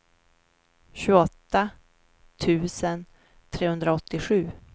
tjugoåtta tusen trehundraåttiosju